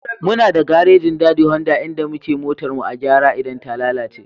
Muna da garejin Dadi Honda inda muke motar mu a gyara idan ta lalace.